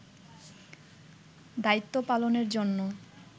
দায়িত্ব পালনের জন্য